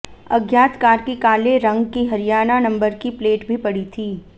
अज्ञात कार की काले रंग की हरियाणा नंबर की प्लेट भी पड़ी थी